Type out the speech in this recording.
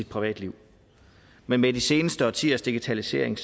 privatliv men med de seneste årtiers digitalisering